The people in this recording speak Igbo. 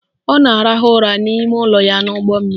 Ọ na-arahụ ụra n'ime ụlọ ya n'ụgbọmmiri